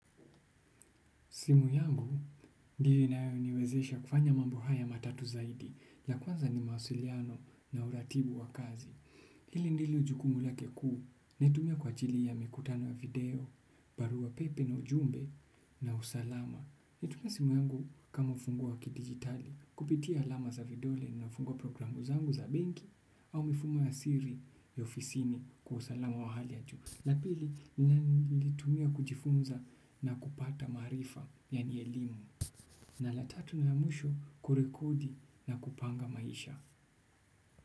Simu yangu, ndiyo inayoniwezesha kufanya mambo haya matatu zaidi, la kwanza ni mawasiliano na uratibu wa kazi. Hili ndilo jukumu lake kuu, naitumia kwa ajili ya mikutano ya video, barua pepe na ujumbe na usalama. Naitumia simu yangu kama ufunguo kidigitali, kupitia alama za vidole nafungua programu zangu za benki au mifumo ya siri ya ofisini kwa usalama wa hali ya juu. La pili nalitumia kujifunza na kupata maarifa yani elimu na la tatu na ya mwisho kurekodi na kupanga maisha.